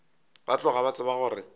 ba tloga ba tseba gore